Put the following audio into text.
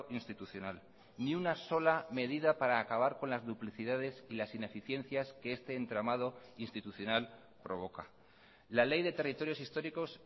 institucional ni una sola medida para acabar con las duplicidades y las ineficiencias que este entramado institucional provoca la ley de territorios históricos